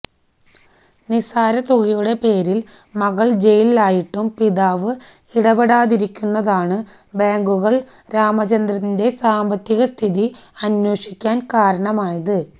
നിസാര തുകയുടെ പേരില് മകള് ജയിലിലായിട്ടും പിതാവ് ഇടപെടാതിരുന്നതാണ് ബാങ്കുകള് രാമചന്ദ്രന്റെ സാമ്പത്തിക സ്ഥിതി അന്വേഷിക്കാന് കാരണമായത്